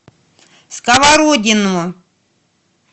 сковородино